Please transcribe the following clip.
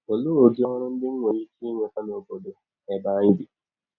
Ọlee ụdị ọrụ ndị m nwere ike inweta n’ọbọdọ ebe anyị bi?